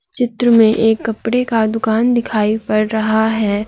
चित्र में एक कपड़े का दुकान दिखाई पड़ रहा है।